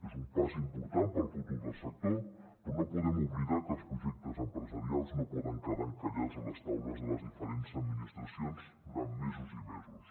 és un pas important per al futur del sector però no podem oblidar que els projectes empresarials no poden quedar encallats a les taules de les diferents administracions durant mesos i mesos